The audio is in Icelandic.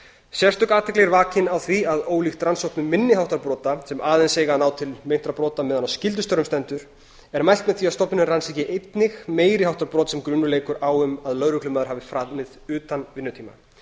sérstök athygli er vakin á því að ólíkt rannsóknum minni háttar brota sem aðeins eiga að ná til meintra brota meðan á skyldustörfum stendur er mælt með því að stofnunin rannsaki einnig meiri háttar brot sem grunur leikur á um að lögreglumaður hafi framið utan vinnutíma